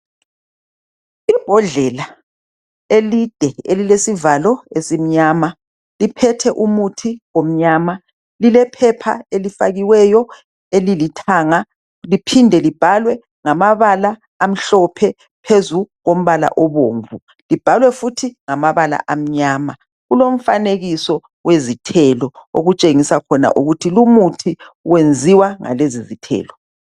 Imbodlela ende elesivalo esimnyama liphethe umuthi omnyama. Lilephepha elifakiweyo elilithanga liphinde libhalwe ngamabala amhlophe phezu kombala obomvu. Libhalwe futhi ngamabala amnyama. Lilomfanekiso wezithelo otshengisa ukuthi lumuthi wenziwe ngezithelo.